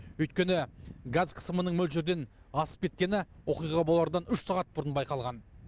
өйткені газ қысымының мөлшерден асып кеткені оқиға болардан үш сағат бұрын байқалған